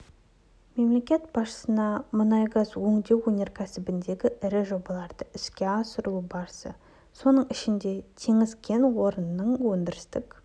мемлекет басшысына мұнай-газ өңдеу өнеркәсібіндегі ірі жобалардың іске асырылу барысы соның ішінде теңіз кен орнының өндірістік